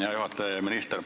Hea juhataja!